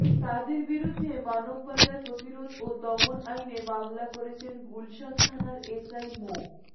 তাদের বিরুদ্ধে মানব পাচার প্রতিরোধ ও দমন আইনে মামলা করেছেন গুলশান থানার এসআই মো